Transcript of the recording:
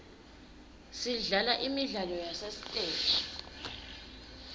sidlala imidlalo yasesiteji